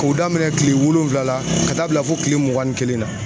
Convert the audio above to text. K'o daminɛ kile wolonwula la ,ka taa bila fo kile mugan ni kelen na.